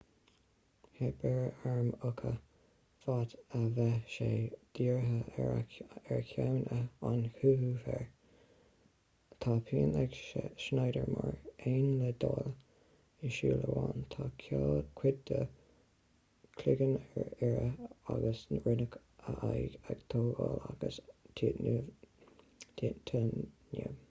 theip ar arm uka fad a bhí sé dírithe ar cheann an chúigiú fhir tá pian ag schnieder mar aon le daille i súil amháin tá cuid dá chloigeann ar iarraidh agus rinneadh a aghaidh a atógáil as tíotáiniam